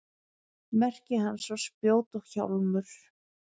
merki hans var spjót og hjálmur